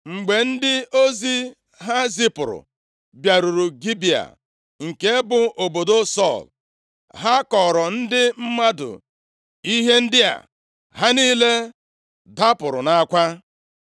Mgbe ndị ozi ha zipụrụ bịaruru Gibea, nke bụ obodo Sọl, ha kọọrọ ndị mmadụ ihe ndị a, ha niile dapụrụ nʼakwa.